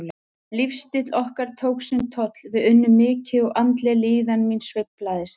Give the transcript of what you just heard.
Lífsstíll okkar tók sinn toll, við unnum mikið og andleg líðan mín sveiflaðist.